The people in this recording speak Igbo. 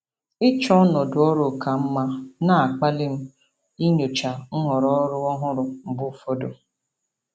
Ịchọ ọnọdụ ọrụ ka mma na-akpali m inyocha nhọrọ ọrụ ọhụrụ mgbe ụfọdụ.